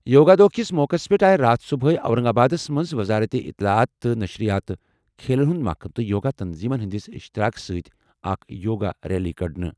یوگا دۄہ کِس موقعس پٮ۪ٹھ آیہِ راتھ صبحٲے اورنگ آبادَس منٛز وزارت اطلاعات تہٕ نشریات، کھیلَن ہُنٛد محکمہٕ تہٕ یوگا تنظیمَن ہٕنٛدِس اشتراک سۭتۍ اکھ یوگا ریلی کَڑنہٕ۔